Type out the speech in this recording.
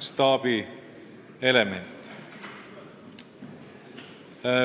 staabielement.